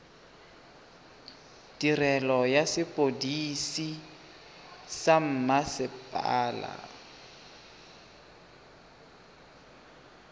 tirelo ya sepodisi sa mmasepala